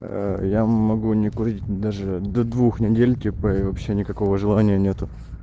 ээ я могу не курить даже до двух недель типа и вообще никакого желания нету